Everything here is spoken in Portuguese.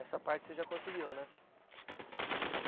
Essa parte você já conseguiu, né?